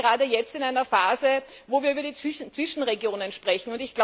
Wir sind gerade jetzt in einer Phase, in der wir über die Zwischenregionen sprechen.